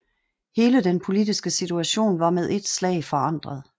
Hele den politiske situation var med et slag forandret